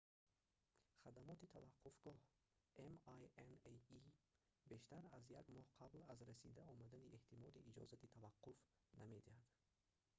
хадамоти таваққуфгоҳ minae бештар аз як моҳ қабл аз расида омадани эҳтимолӣ иҷозати таваққуф намедиҳад